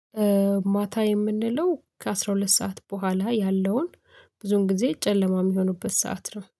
ማታ የምንለው ከአስራ ሁለት ሰዓት በኋላ ያለውን ብዙን ጊዜ ጨለማ የሚሆንበት ሰዓት ነው።